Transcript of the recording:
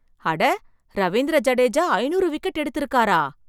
அட, ரவீந்திர ஜடேஜா ஐநூறு விக்கெட் எடுத்திருக்காரா!